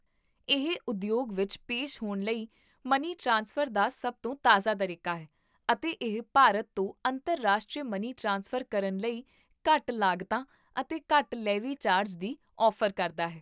ਇਹ ਉਦਯੋਗ ਵਿੱਚ ਪੇਸ਼ ਹੋਣ ਲਈ ਮਨੀ ਟ੍ਰਾਂਸਫਰ ਦਾ ਸਭ ਤੋਂ ਤਾਜ਼ਾ ਤਰੀਕਾ ਹੈ, ਅਤੇ ਇਹ ਭਾਰਤ ਤੋਂ ਅੰਤਰਰਾਸ਼ਟਰੀ ਮਨੀ ਟ੍ਰਾਂਸਫਰ ਕਰਨ ਲਈ ਘੱਟ ਲਾਗਤਾਂ ਅਤੇ ਘੱਟ ਲੇਵੀ ਚਾਰਜ ਦੀ ਔਫ਼ਰ ਕਰਦਾ ਹੈ